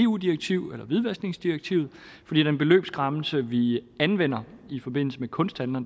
eu direktiv eller hvidvaskningsdirektivet fordi den beløbsgrænse vi anvender i forbindelse med kunsthandlere